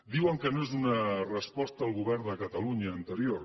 diuen que no és una resposta al govern de catalunya anterior